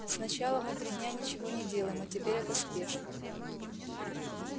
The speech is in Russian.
сначала мы три дня ничего не делаем а теперь эта спешка